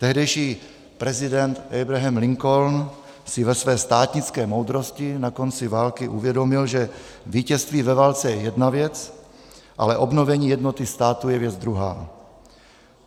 Tehdejší prezident Abraham Lincoln si ve své státnické moudrosti na konci války uvědomil, že vítězství ve válce je jedna věc, ale obnovení jednoty státu je věc druhá.